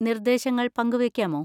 നിർദേശങ്ങൾ പങ്കുവെക്കാമോ?